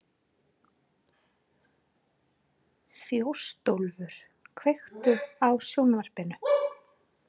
Þjóstólfur, kveiktu á sjónvarpinu.